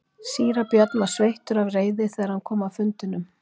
Síra Björn var sveittur af reiði þegar hann kom af fundinum.